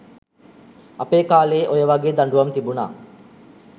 අපේ කාලේ ඔය වගේ දඬුවම් තිබුන